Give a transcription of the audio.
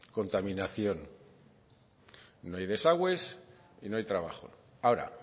contaminación no hay desagües y no hay trabajo ahora